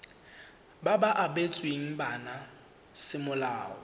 ba ba abetsweng bana semolao